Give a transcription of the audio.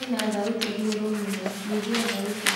kwĩna thaũtĩĩĩ ĩgũrũ mũno nyĩhĩa thaũtĩ